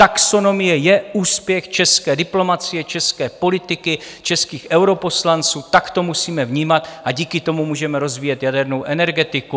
Taxonomie je úspěch české diplomacie, české politiky, českých europoslanců, tak to musíme vnímat, a díky tomu můžeme rozvíjet jadernou energetiku.